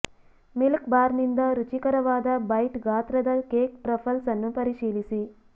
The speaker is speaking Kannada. ಮಿಲ್ಕ್ ಬಾರ್ನಿಂದ ರುಚಿಕರವಾದ ಬೈಟ್ ಗಾತ್ರದ ಕೇಕ್ ಟ್ರಫಲ್ಸ್ ಅನ್ನು ಪರಿಶೀಲಿಸಿ